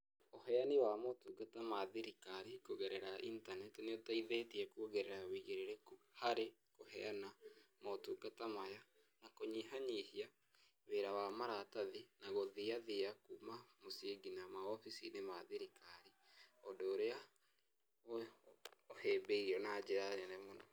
Ũheani wa motungata ma thirikari kugerera intaneti nĩũteithetie kuongerera wũigĩrĩrĩku, harĩ, kũheana motungata maya, na kũnyiha nyihia wĩra wa maratathi, na gũthia thia kuma mũcii nginya maoficinĩ ma thirikari, ũndũ ũrĩa ũhĩ ũhĩmbĩirio na njĩra nene muno.